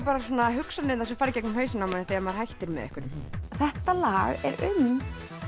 hugsanirnar sem fara í gegnum hausinn á manni þegar maður hættir með einhverjum þetta lag er um